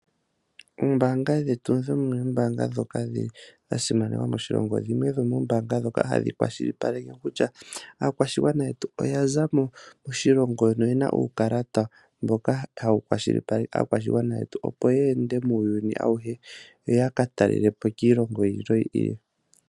Oombaanga dhetu dhimwe dhomoombaanga dha simana moshilongo. Dhimwe dhomoombaanga ndhoka hadhi kwashilipaleke kutya aakwashigwana shetu oya za mo moshilongo noye na uukalata mboka hawu kwashilipaleke opo ye ende muuyuni auhe yo ya ka talele po kiilongo yi ili noyi ili.